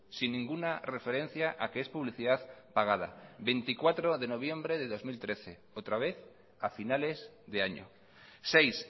sin ninguna referencia a que es publicidad pagada veinticuatro de noviembre de dos mil trece otra vez a finales de año seis